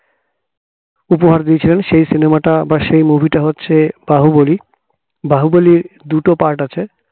উপহার দিয়েছেন সেই cinema টা আবার সেই movie টা হচ্ছে বাহুবলী বাহুবলী দুটো part আছে